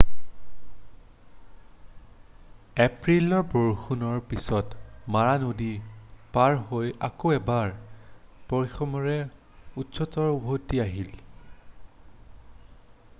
এপ্ৰিলৰ বৰষুণৰ পিছত মাৰা নদী পাৰ হৈ আকৌ এবাৰ পশ্চিমেৰে উত্তৰত উভতি আহিল